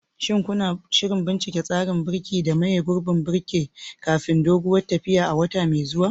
Shin kuna shirin bincika tsarin birki da maye gurbin birkin kafin doguwar tafiyar a wata mai zuwa?